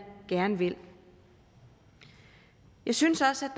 gerne vil jeg synes også